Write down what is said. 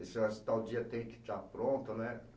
tal dia tem que estar pronto, né?